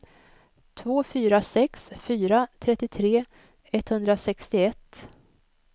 två fyra sex fyra trettiotre etthundrasextioett